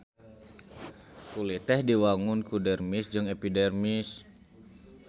Kulit teh diwangun ku dermis jeung epidermis.